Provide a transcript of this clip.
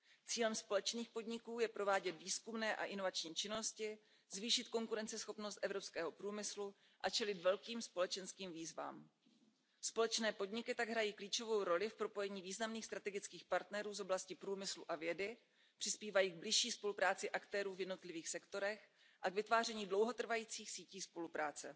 Cílem společných podniků je provádět výzkumné a inovační činnosti, zvýšit konkurenceschopnost evropského průmyslu a čelit velkým společenským výzvám. Společné podniky tak hrají klíčovou roli v propojení významných strategických partnerů z oblastí průmyslu a vědy, přispívají k bližší spolupráci aktérů v jednotlivých sektorech a k vytváření dlouhotrvajících sítí spolupráce.